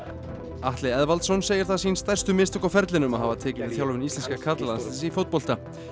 Atli Eðvaldsson segir það sín stærstu mistök á ferlinum að hafa tekið við þjálfun íslenska karlalandsliðsins í fótbolta